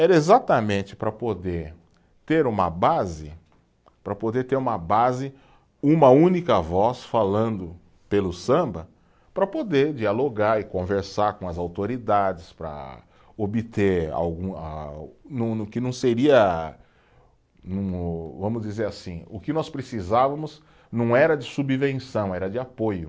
Era exatamente para poder ter uma base, para poder ter uma base, uma única voz falando pelo samba, para poder dialogar e conversar com as autoridades, para obter algum a, que não seria, vamos dizer assim, o que nós precisávamos não era de subvenção, era de apoio.